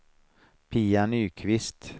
Pia Nyqvist